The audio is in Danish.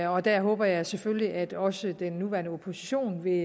og der håber jeg selvfølgelig at også den nuværende opposition vil